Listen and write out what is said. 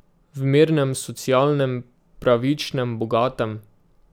V mirnem, socialnem, pravičnem, bogatem ...